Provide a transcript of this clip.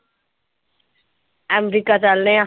America ਚੱਲਦੇ ਹਾਂ